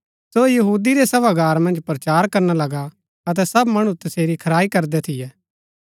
सो यहूदी रै सभागार मन्ज प्रचार करना लगा अतै सब मणु तसेरी खराई करदै थियै